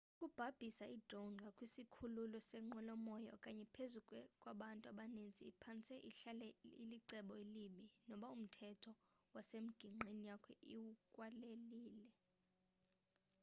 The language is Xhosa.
ukubhabhisa i-drone ngakwisikhululo senqwelo moya okanye phezu kwabantu abaninzi iphantse ihlale ilicebo elibi noba umthetho wasemgingqini yakho awukwaleli